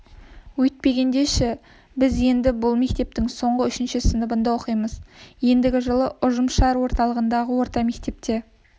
өйтпегенде ше біз енді бұл мектептің соңғы үшінші сыныбында оқимыз ендігі жылы ұжымшар орталығындағы орта мектепке